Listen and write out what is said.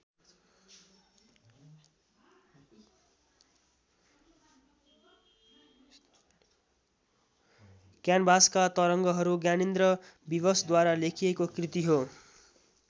क्यानभासका तरङ्गहरू ज्ञानेन्द्र विवशद्वारा लेखिएको कृति हो।